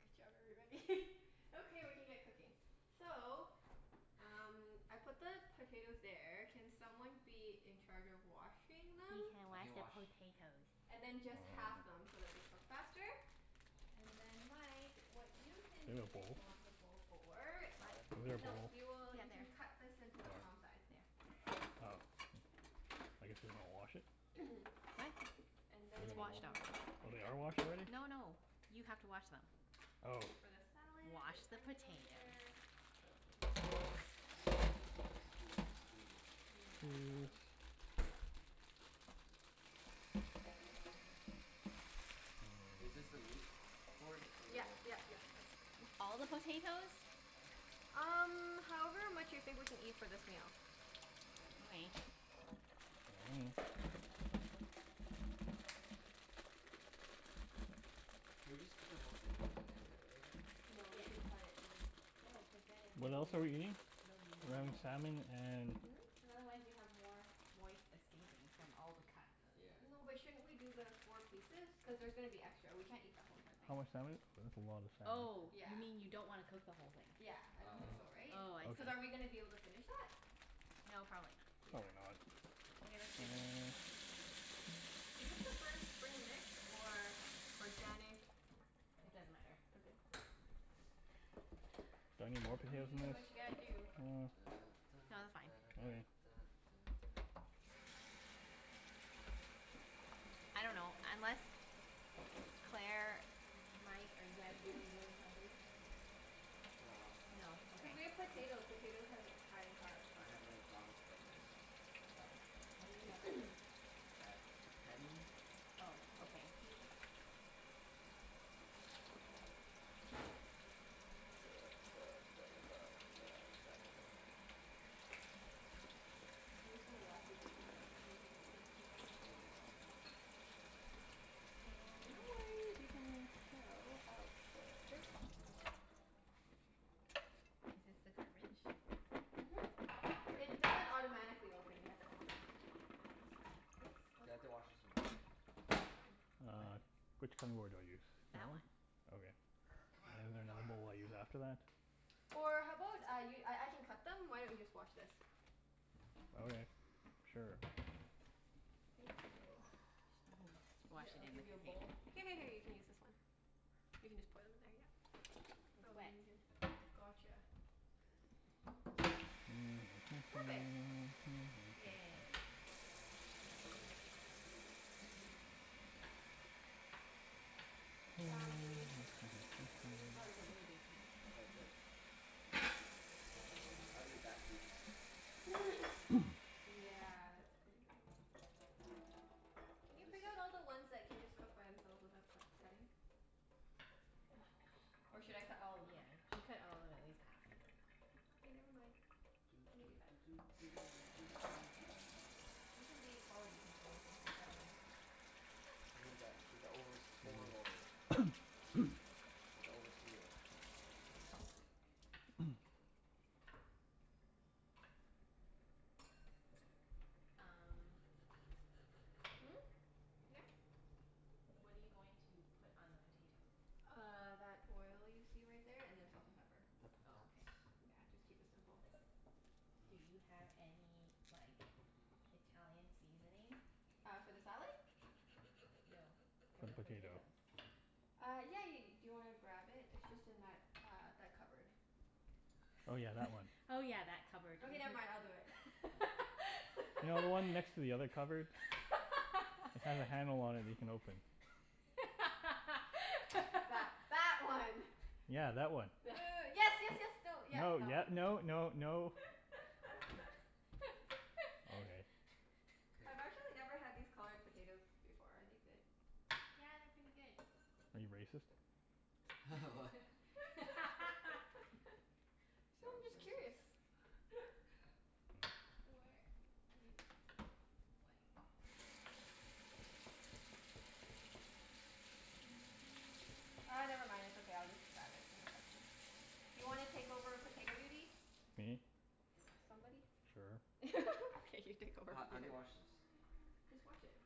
Good job everybody. Okay, we can get cooking. So um I put the potatoes there. Can someone be in charge of washing them? He can I wash can the wash. potatoes. And then just half them so that they cook faster. And then Mike, what you can Do we have be a bowl? responsible for The What? salad? Is there a No, bowl? Oh. you will, Yeah, you there. can cut this into the palm size. There. Oh. I guess we wanna wash it? Are they? What? And It's washed then already. Oh they are washed already? No no, you have to wash them. Oh. This is for the salad. Wash There's the onion over potatoes. there. What else goes in the salad? Scusi, scusi. And then the 'Scuse. avocado. Is this the meat board? Or the Yep wood? yep yep, that's a good one. All the potatoes? Um however much you think we can eat for this meal. All right. Should we just cook the whole thing first and then cut it later? No, you Yes. should cut it and then No, cuz then it'll What else are we be, eating? it'll be more We're having moist. salmon and Hmm? Cuz otherwise you have more moist escaping from all the cuts. Yeah. No but shouldn't we do the four pieces? Cuz there's gonna be extra. We can't eat the whole entire thing. How much salmon? That's a lot of Oh, salmon. you Yeah. mean you don't wanna cook the whole thing? Yeah, I Oh, don't think so oh okay. right? Oh, I see. Cuz are we going Okay. to be able to finish that? No, probably not. Yeah. Probably Okay, that's good. not. Do you prefer spring mix or organic It doesn't matter. Okay. Do I need more potatoes You than do this? what you gotta do. Da da No, they're da fine. da Okay. da da da da. I dunno, unless, Claire, Mike, are you guys really really hungry? No. No. Cuz Okay. we have potato. Potatoes has high in carbs, so. I had a McDonald's Yeah. breakfast. Oh. When did you have breakfast? At ten. Oh, Yeah. okay. Duh duh duh duh duh duh duh duh. I'm just gonna wash these and half them and then gonna do onions as well. So no worries, you can chill out for a little bit. Is this the garbage? Mhm. It doesn't automatically open, you have to open it. I know it's, yes? Do What's I have up? to wash this in water? No, it's fine. What? Which cutting board do I use? That That one. one? Okay. C'mon, c'mon I use after that? Or how about I y- I I can cut them? Why don't you just wash this? Okay. Sure. Thank you. Mhm. Wash Here it I'll in the give you a container. bowl. Here here here you can use this one. You can just pour them in there, yep. It's Oh let wet. me get. Gotcha. Perfect. Yay. Um okay, let me Oh, get a that's a really big piece. Oh, is it? I'll cut smaller ones. I'll eat that piece. Yeah, that's pretty big. Can you Is pick out this all the ones that can just cook by themselves without cut cutting? Or should I cut all of them? Yeah, you should cut all of them at least half. Okay, never mind. Doo Let me do doo that. doo doo doo doo doo doo doo. You can be quality control or something. I dunno. You need that, be the overs- overlord. Like the overseer. Um Hmm? Yeah? What are you going to put on the potatoes? Uh that oil you see right there and then salt and pepper. The Oh, potats. okay. Yeah, just keep it simple. Do you have any like Italian seasoning? Uh for the salad? No. For For the the potato. potatoes. Uh yeah yeah ye- . Do you want to grab it? It's just in that uh that cupboard. Oh yeah, that one. Oh yeah, that cupboard. Okay never Mhm. mind, I'll do it. You know the one next to the other cupboard? It's got a handle on it that you can open. That that one. Yeah, that one. Uh yes yes yes, no, yep, No, that yep, one. no no no. Okay. K. I've actually never had these colored potatoes before. Are they good? Yeah, they're pretty good. Are you racist? What? So I'm Sounds just curious. racist. Where is, what? Ah never mind. It's okay. I'll just grab it in a second. Do you want to take over potato duty? Me? Somebody? Sure. Okay, you take over Ho- how do you potato. wash this? Just wash it.